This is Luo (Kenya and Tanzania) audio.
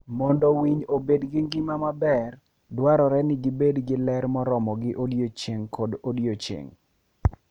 Mondo winy obed gi ngima maber, dwarore ni gibed gi ler moromogi odiechieng' kodiechieng'.